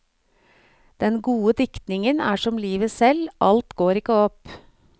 Den gode diktningen er som livet selv, alt går ikke opp.